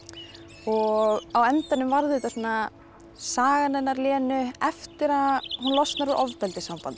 og á endanum varð þetta svona sagan hennar Lenu eftir að hún losnar úr ofbeldissambandi